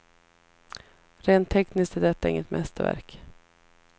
Rent tekniskt är detta inget mästerverk.